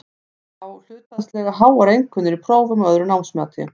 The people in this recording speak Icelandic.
Fá hlutfallslega háar einkunnir í prófum og öðru námsmati.